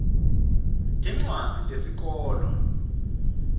tincwadzi tesikolwa